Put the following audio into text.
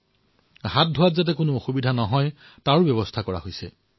জনসাধাৰণৰ হাত ধুবলৈ যাতে সমস্যা নহয় তাৰে ব্যৱস্থা কৰা হৈছে